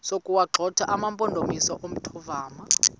sokuwagxotha amampondomise omthonvama